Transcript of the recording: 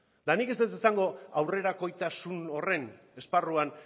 eta nik ez dut esango aurrerakoitasun horren esparruan